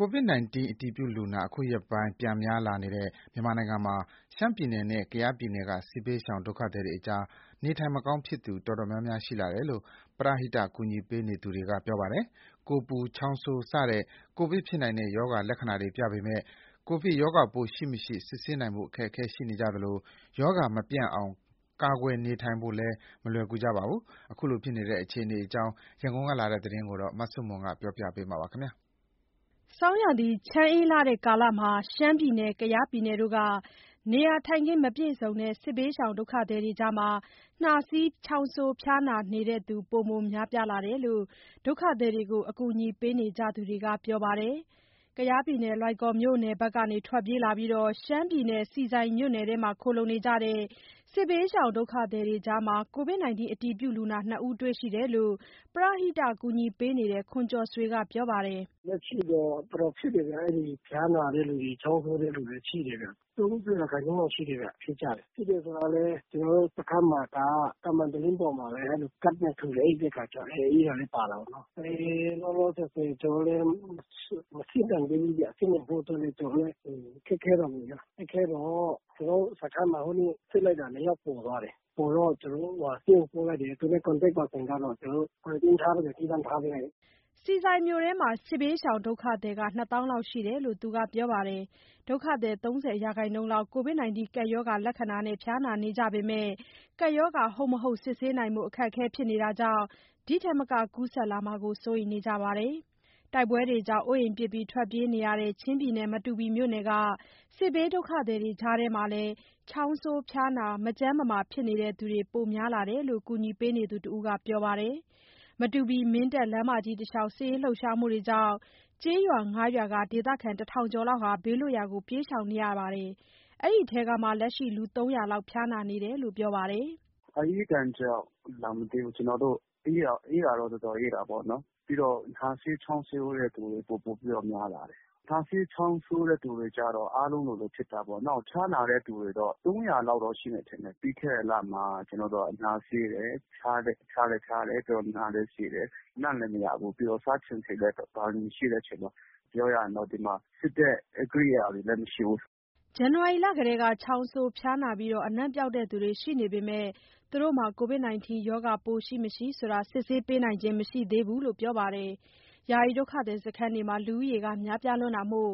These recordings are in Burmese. ကိုဗစ်ကပ်အတည်ပြုလူနာ အခုရက်ပိုင်း ပြန်များလာတဲ့ မြန်မာနိုင်ငံမှာ ရှမ်းပြည်နယ်နဲ့ ကယားပြည်နယ်က စစ်ဘေးရှောင် ဒုက္ခသည်တွေကြား နေထိုင်မကောင်းဖြစ်သူ တော်တော် များများ ရှိလာတယ်လို့ ပရဟိတကူညီပေးသူတွေ ပြောပါတယ်။ ကိုယ်ပူ၊ ချောင်းဆိုးစတဲ့ ကိုဗစ်ဖြစ်နိုင်တဲ့ ရောဂါလက္ခဏာတွေပြပေမယ့် ကိုဗစ်ရောဂါပိုးရှိ မရှိ စစ်ဆေးနိုင်ဖို့ အခက်အခဲတွေရှိနေကြသလို ရောဂါမပျံ့အောင် ကာကွယ်နေထိုင်ဖို့လည်း မလွယ်ကြပါဘူး။ ခုလိုဖြစ်နေတဲ့ အခြေအနေအကြောင်း ရန်ကုန်ကလာတဲ့သတင်းကို မဆုမွန်က တင်ပြပေးထားပါတယ်။ ဆောင်းရာသီ ချမ်းအေးတဲ့ကာလမှာ ရှမ်းပြည်နယ်၊ ကယားပြည်နယ်တို့က နေရာထိုင်ခင်း မပြည့်စုံတဲ့ စစ်ဘေးဒုက္ခသည်တွေကြား နှာစေး၊ ချောင်းဆိုး၊ ဖျားနာနေသူတွေ ပိုမိုများပြားလာတယ်လို့ ဒုက္ခသည်တွေကို အကူအညီပေးနေကြသူတွေက ပြောပါတယ်။ လွိုင်ကော်မြို့နယ်ဘက်က ထွက်ပြေးလာပြီး ရှမ်းပြည်နယ် ဆီဆိုင်မြို့နယ်ထဲမှာ ခိုလှုံနေကြတဲ့ စစ်ဘေးရှောင်ဒုက္ခသည်တွေကြား ကိုဗစ်အတည်ပြုလူနာ ၂ ဦးတွေ့ရှိတယ်လို့ ပရဟိတကူညီပေးနေတဲ့ ခွန်ကျော်ဆွေက ပြောပါတယ်။ “လက်ရှိတော့ တော်တော်ဖြစ်တယ်ဗျ။ အဲ့ဒီဖျားနာတဲ့လူတွေ၊ ချောင်းဆိုးတဲ့လူတွေ ရှိတယ်ဗျ။ ၃၀ ရာခိုင်နှုန်းလောက်ရှိတယ်ဗျ၊ ဖြစ်တယ်ဆိုတာလည်း ကျနော်တို့စခန်းမှာက သံမံတလင်းပေါ်မှာပဲ အိပ်တဲ့အခါကျတော့ အေးတာလည်း ပါတာပေါ့နော်။ လောလောဆယ်ဆယ် ကျနော်တို့လည်း မစစ်နိုင်သေးဘူးဗျ။ စစ်နိုင်ဖို့အတွက်လည်း ခက်ခဲတာပေါ့ဗျ။ ခက်ခဲတော့ ကျနော်တို့စခန်းမှာ ဟိုနေ့ စစ်လိုက်တာ ၂ ယောက် ပေါ်သွားတယ်။ ပေါ်သွားတော့ သူတို့ကို ဆေးရုံပို့တယ်။ သူနဲ့ contacts ပါသူတွေကတော့ ကျနော်တို့ ခွဲပေးထားပြီး သီးသန့်ထားပေးလိုက်တယ်။” ဆီဆိုင်မြို့နယ်ထဲမှာ စစ်ဘေးရှောင်ဒုက္ခသည် ၂ သောင်းလောက်ရှိတယ်လို့ သူကပြောပါတယ်။ ဒုက္ခသည် ၃၀% လောက် ကိုဗစ်ကပ်ရောဂါလက္ခဏာနဲ့ ဖျားနာနေကြပေမဲ့ ကပ်ရောဂါ ဟုတ်မဟုတ် စစ်ဆေးနိုင်ဖို့ အခက်အခဲဖြစ်နေတာကြောင့် ဒီထက်မက ကူးစက်လာမှာကို စိုးရိမ်နေကြပါတယ်။ တိုက်ပွဲတွေကြောင့် အိုးအိမ်ပစ်ထွက်ပြေးနေကြရတဲ့ ချင်းပြည်နယ် မတူပီမြို့နယ်က စစ်ဘေးဒုက္ခသည်တွေကြားမှာလည်း ချောင်းဆိုး၊ ဖျားနာ၊ မကျန်းမမာဖြစ်နေသူတွေ ပိုမိုများလာတယ်လို့ ကူညီပေးနေသူတဦးက ပြောပါတယ်။ မတူပီ-မင်းတပ်လမ်းမကြီး တလျှောက် စစ်ရေးလှုပ်ရှားမှုတွေကြောင့် ကျေးရွာ ၅ ရွာက ဒေသခံ ၁,၀၀၀ ကျော်ဟာ ဘေးလွတ်ရာကို ပြေးရှောင်နေရပြီး လက်ရှိ အဲ့ဒီထဲက လူ ၃၀၀ လောက် ဖျားနာနေတာလို့ ပြောပါတယ်။ “အအေးဒဏ်ကြောင့်လာမသိဘူး။ အေးတာတော့ တော်တော်အေးတာပေါ့နော်။ ပြီးတော့ နှာစေး၊ ချောင်းဆိုးတဲ့သူတွေ ပိုပိုပြီးတော့ များလာတယ်။ နှာစေး ချောင်းဆိုးတဲ့ သူတွေကျတော့ အားလုံးလိုလိုဖြစ်တာပေါ့နော်။ ဖျားနာတဲ့သူတွေတော့ ၃၀၀ လောက်တော့ ရှိမယ် ထင်တယ်။ ပြီးခဲ့တဲ့လမှာ နှာစေးတယ်။ ဖျားလည်း ဖျားတယ်။ ပြီးတော့ နှာလည်း စေးတယ်။ အနံ့လည်းမရဘူး။ ပြီးတော့ စားချင်စိတ်လည်း မရှိတဲ့အချိန်မှာ ပြောရရင်တော့ ဒီမှာ စစ်တဲ့ ကိရိယာတွေလည်း မရှိဘူး။” ဇန်နဝါရီလကတည်းက ချောင်းဆိုး၊ ဖျားနာပြီး အနံ့ပျောက်သူတွေ ရှိနေပေမယ့် ကိုဗစ်ရှိ မရှိ စစ်ဆေးပေးနိုင်ခြင်းမရှိသေးဘူးလို့ ပြောပါတယ်။ ယာယီဒုက္ခသည်စခန်းတွေမှာ လူဦးရေ များပြားတာမို့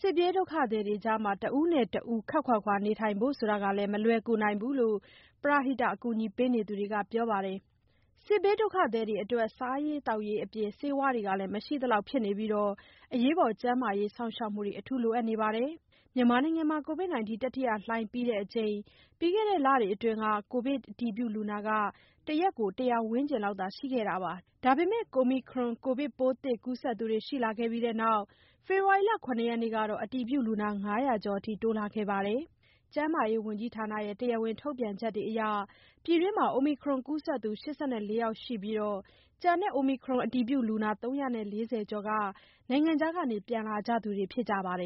စစ်ပြေးဒုက္ခသည်တွေကြား တဦးနဲ့ တဦး ခပ်ခွာခွာနေထိုင်ဖို့ မလွယ်ကူနိုင်ဘူးလို့ ပရဟိတအကူအညီပေးသူတွေက ပြောပါတယ်။ စစ်ဘေးဒုက္ခသည်တွေအတွက် စားရေး သောက်ရေးအပြင် ဆေးဝါးတွေလည်း မရှိသလောက် ဖြစ်နေပြီး ကျန်းမာရေး စောင့်ရှောက်မှု အထူးလိုအပ်နေကြပါတယ်။ မြန်မာနိုင်ငံမှာ ကိုဗစ် တတိယလှိုင်းပြီးချိန် ပြီးခဲ့တဲ့လတွေအတွင်း ကိုဗစ်အတည်ပြုလူနာ ၁ နေ့ကို ၁၀၀ ဝန်းကျင်လောက်သာရှိခဲ့ပါတယ်။ ဒါပေမဲ့ Omicron ကိုဗစ်ပိုးသစ်ကူးစက်သူတွေရှိလာခဲ့ပြီးနောက် ဖေဖော်ဝါရီလ ၇ ရက်ကတော့ အတည်ပြုလူနာ ၅၀၀ ကျော်အထိ တိုးလာခဲ့ပါတယ်။ ကျန်းမာရေးဝန်ကြီးဌာနရဲ့ တရားဝင် ထုတ်ပြန်ချက်အရ ပြည်တွင်း Omicron ကူးစက်သူ ၈၄ ယောက်ရှိပြီး၊ ကျန်တဲ့ Omicron အတည်ပြုလူနာ ၃၄၀ ကျော်က နိုင်ငံခြားက ပြန်လာကြသူတွေဖြစ်ကြပါတယ်